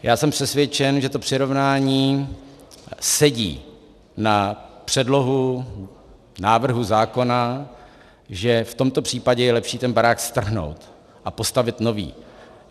Já jsem přesvědčen, že to přirovnání sedí na předlohu návrhu zákona, že v tomto případě je lepší ten barák strhnout a postavit nový.